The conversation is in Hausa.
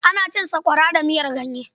Ana cin sakwara da miyar ganye.